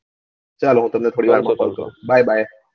ચાલો હું તમને થોડી વાર માં call કરું by by